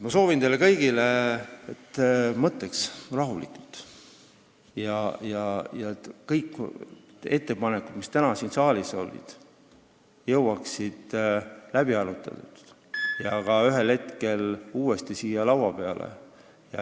Ma soovin teile kõigile, et te mõtleks rahulikult ja et kõik ettepanekud, mis täna siin saalis olid, saaksid läbi arutatud ja jõuaksid ühel hetkel uuesti siia laua peale.